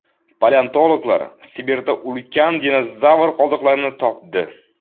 Paleontologlar Sibirda ulkan dinozavr qoldiqlarini topdi.